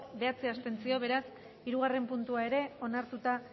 bederatzi abstentzio beraz hirugarren puntua ere onartuta